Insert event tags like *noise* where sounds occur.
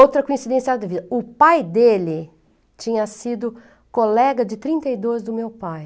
Outra coincidência, *unintelligible* o pai dele tinha sido colega de trinta e dois do meu pai.